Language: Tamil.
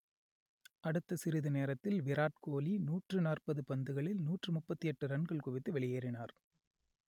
அடுத்த சிறிது நேரத்தில் விராட் கோலி நூற்று நாற்பது பந்துகளில் நூற்று முப்பத்தி எட்டு ரன்கள் குவித்து வெளியேறினார்